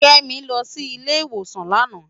Kemi lò si ile iwósán làná